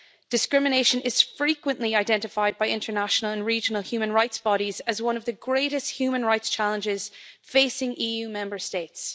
Discrimination is frequently identified by international and regional human rights bodies as one of the greatest human rights challenges facing EU Member States.